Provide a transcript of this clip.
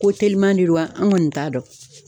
Ko teliman de don wa? An kɔni t'a dɔn.